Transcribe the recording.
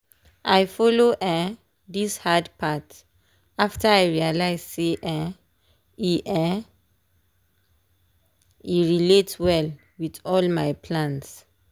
i follow um this hard path after i realize say um e um e relate well with all my plans.